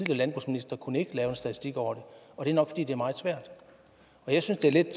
landbrugsminister kunne ikke lave en statistik over og det er nok fordi det er meget svært jeg synes det er lidt